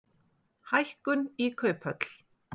Hækkun í kauphöll